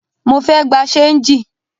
Mo fẹ́ gbà ṣéńjì